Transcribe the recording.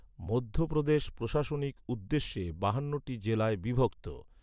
মধ্যপ্রদেশ প্রশাসনিক উদ্দেশ্যে বাহান্নটি জেলায় বিভক্ত।